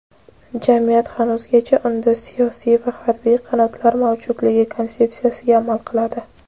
Jamiyat hanuzgacha unda siyosiy va harbiy qanotlar mavjudligi konsepsiyasiga amal qiladi.